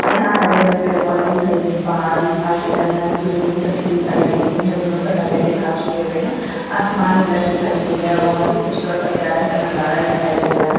यहां हरे भरे पेड़ पौधे दिखाई दे रहे हैं पहाड़ भी दिखाई दे रहा है यहां की जमीने कच्ची दिखाई दे रही है जंगलों में हरे हरे घास उग हुए हैं आसमान नीला दिखाई दे रहा है बहुत ही खूबसूरत प्यारा सा नजारा दिखाई दे रहा है।